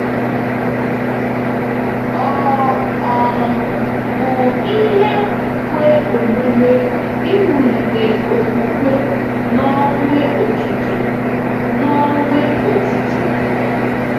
Ọ̀ um bụ ihe kwe omume iwulite okwukwe n’Ọnwe-Okike n’Ọnwe-Okike?